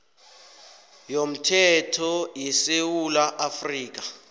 yomthetho yesewula afrika